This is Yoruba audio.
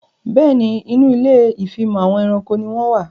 Bẹ́ẹ̀ni, Inú ilé ìfimọ̀ àwọn ẹranko ni wón wà